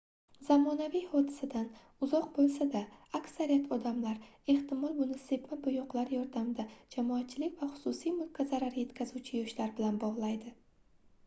zamonaviy hodisadan uzoq boʻlsa-da aksariyat odamlar ehtimol buni sepma boʻyoqlar yordamida jamoatchilik va xususiy mulkka zarar yetkazuvchi yoshlar bilan bogʻlaydi